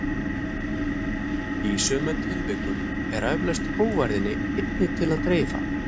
Í sumum tilvikum er eflaust hógværðinni einni til að dreifa.